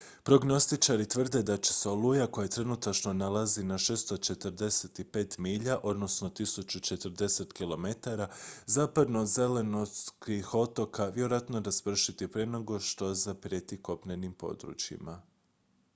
prognostičari tvrde da će se oluja koja se trenutačno nalazi na 645 milja 1040 km zapadno od zelenortskih otoka vjerojatno raspršiti prije nego što zaprijeti kopnenim područjima